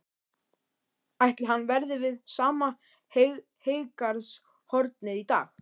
Ætli hann verði við sama heygarðshornið í dag?